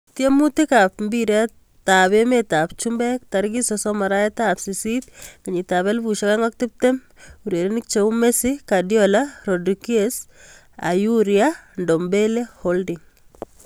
Tiemutik ab mbiret ab emet ab chumbek 30.08.2020: Messi, Guardiola, Rodriguez, Aurier, Ndombele , Holding.